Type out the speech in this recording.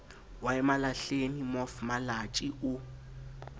wa emalahleni mof malatjie o